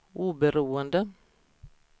oberoende